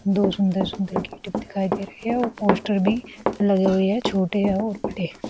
दो सुंदर सुंदर गेटीव दिखाई दे रहे हैं और पोस्टर भी लगे हुए हैं छोटे और बड़े।